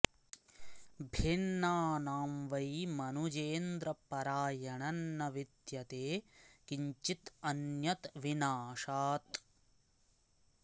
भिन्नानां वै मनुजेन्द्र परायणं न विद्यते किं चिदन्यद्विनाशात्